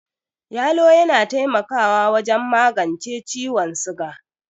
Yalo yana taimakawa wajen magence ciwon siga.